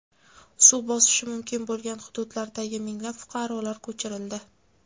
Suv bosishi mumkin bo‘lgan hududlardagi minglab fuqarolar ko‘chirildi .